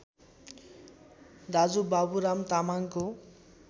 दाजु बाबुराम तामाङको